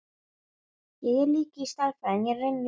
Á hverjum morgni vaknar maður sigri hrósandi.